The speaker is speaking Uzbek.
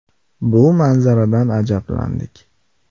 Bu manzaradan ajablandik.